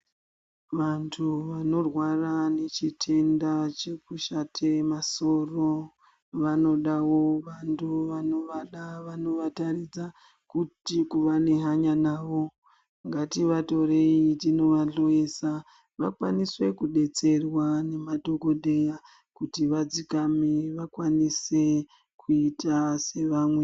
Vantu vanorwara nechitenda chekushate masoro vanodavo vantu vanovada vanovataridza kuti kuva nehanya navo. Ngativatorei tinovahloesa vakawanise kubetserwa ngemadhogodheya kuti vadzikame vakwanise kuite sevamwe.